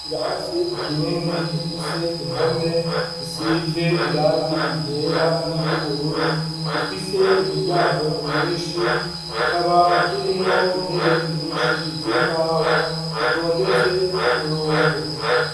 Ikirase kinini gifise impome zisize irangi ryera niry'ubururu, gifise imiryango myinshi, kikaba kirimwo intebe nyinshi z'imbaho zitondetse kumurongo.